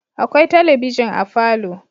Akwai talabijin a falo